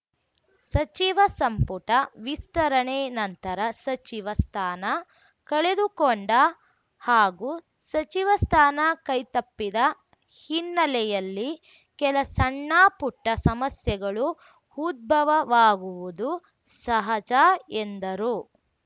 ಸಚಿವ ಸಂಪುಟ ವಿಸ್ತರಣೆ ನಂತರ ಸಚಿವ ಸ್ಥಾನ ಕಳೆದುಕೊಂಡ ಹಾಗೂ ಸಚಿವ ಸ್ಥಾನ ಕೈತಪ್ಪಿದ ಹಿನ್ನೆಯಲ್ಲಿ ಕೆಲ ಸಣ್ಣಪುಟ್ಟಸಮಸ್ಯೆಗಳು ಉದ್ಭವವಾಗುವುದು ಸಹಜ ಎಂದರು